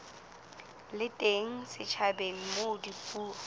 le teng setjhabeng moo dipuo